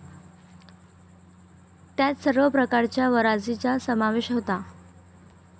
त्यात सर्व प्रकारच्या वंराजीचा समावेश होता.